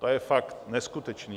To je fakt neskutečné!